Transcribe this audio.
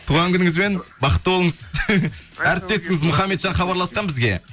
туған күніңізбен бақытты болыңыз әріптесіңіз мұхаммеджан хабарласқан бізге